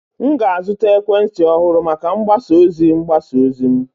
M ga-azụta ekwentị ọhụrụ maka mgbasa ozi mgbasa ozi m